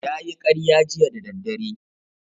Ya yi karya jiya da daddare